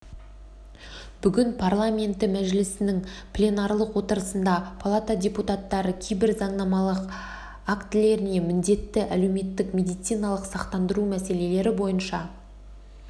бүгін парламенті мәжілісінің пленарлық отырысында палата депутаттары кейбір заңнамалық актілеріне міндетті әлеуметтік медициналық сақтандыру мәселелері бойынша